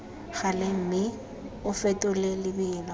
gale mme o fetole lebelo